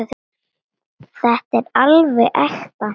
Þetta er alveg ekta.